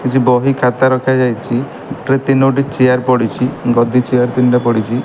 କିଛି ବହି ଖାତା ରଖାଯାଇଚି ଏଥିରେ ତିନୋଟି ଚେୟାର ପଡ଼ିଚି ଗଦି ଚେୟାର ତିନିଟା ପଡ଼ିଚି --